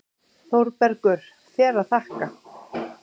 ÞÓRBERGUR: Þér að þakka!